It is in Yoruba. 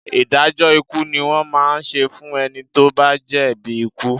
Ìdájọ́ ikú ni wọ́n máa ń ṣe fún ẹni tó bá jẹ̀bi ikú